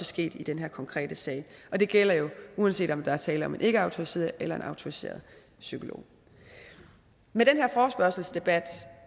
sket i den her konkrete sag og det gælder jo uanset om der er tale om en ikkeautoriseret eller en autoriseret psykolog med den her forespørgselsdebat